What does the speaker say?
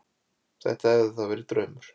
Þetta hafði þá verið draumur.